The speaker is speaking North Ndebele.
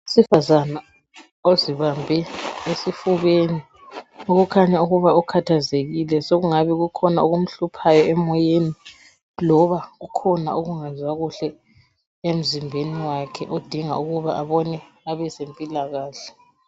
Owesifazana ozibambe esifubeni, okukhanya ukuba ukhathazekile sokungabe kukhona okumhluphayo emoyeni loba kukhona ukungezwa kuhle emzimbeni wakhe odinga abone abazempilakahle.